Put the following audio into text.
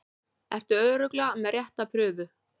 Ertu örugglega með rétta prufu?